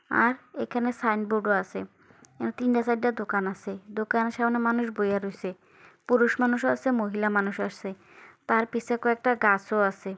আর এখানে সাইনবোর্ড ও আছে এখানে তিন চারটে দোকান আছে দোকানের সামনে মানুষ বসে রয়েছে পুরুষ মানুষ আছে মহিলা মানুষ আছে তার পিছে কয়েকটা গাছ ও আছে।